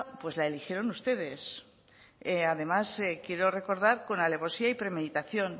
la eligieron ustedes además quiero recordar que con alevosía y premeditación